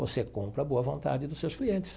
Você compra a boa vontade dos seus clientes.